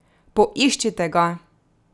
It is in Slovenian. Poiščite ga!